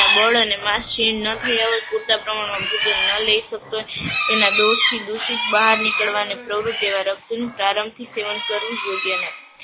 બળ અને માસ ક્ષિણ ના થયા હોય, પૂરતા પ્રમાણમાં ભોજન ન લઈ શકતું હોય એના દોસ થી દૂસિત બહાર નિકડવા ને પ્રવૃત એવા રક્તનું પ્રારંભથી સેવન કરવું યોગ્ય નથી.